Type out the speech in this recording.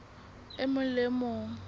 e mong le e mong